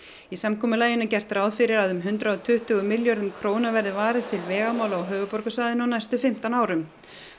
í samkomulaginu er gert ráð fyrir að um hundrað og tuttugu milljörðum króna verði varið til vegamála á höfuðborgarsvæðinu á næstu fimmtán árum